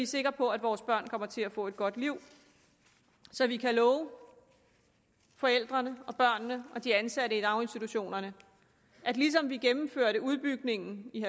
sikre på at vores børn kommer til at få et godt liv og så vi kan love forældrene børnene og de ansatte i daginstitutionerne at ligesom vi gennemførte udbygningen i